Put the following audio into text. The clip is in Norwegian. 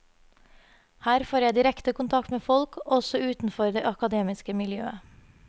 Her får jeg direkte kontakt med folk også utenfor det akademiske miljøet.